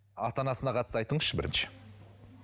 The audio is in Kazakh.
ата анасына қатысты айтыңызшы бірінші